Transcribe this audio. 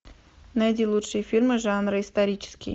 найди лучшие фильмы жанра исторический